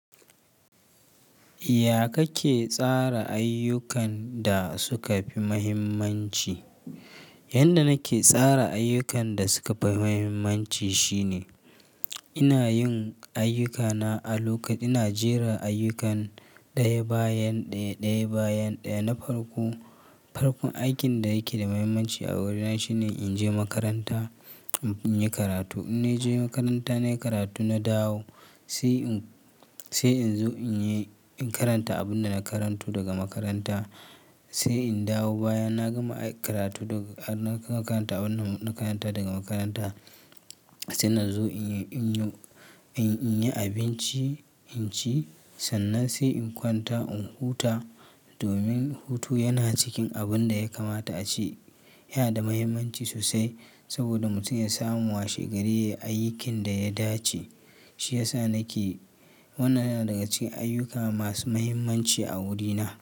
Ya kake tsara ayyukan da suka fi muhimmanci? Yanda nake tsara ayyukan da suka fi muhimmanci shine, ina yin ayyukana a lokaci. Ina jera ayyukan ɗaya bayan ɗaya, ɗaya bayan ɗaya. Na farko, farkon aikin da yake da muhimmanci a wurina shine in je makaranta, in yi karatu. In na je makaranta na yi karatu, na dawo sai in zo in karanta abin da na karanto daga makaranta. Sai in dawo baya na gama karatu daga makaranta, abin da na karanta daga makaranta. Sai na zo in yi abinci, in ci sannan sai in kwanta in huta. Domin hutu yana cikin abin da ya kamata a ce yana da muhimmanci sosai saboda mutum ya samu washe gari yayi ayyukin da ya dace. Shi ya sa nake, wannan yana daga cikin ayyuka masu muhimmanci a wurina.